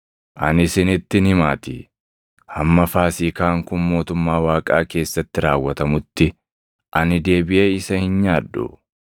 Ani isinittin himaatii; hamma Faasiikaan kun mootummaa Waaqaa keessatti raawwatamutti ani deebiʼee isa hin nyaadhu.”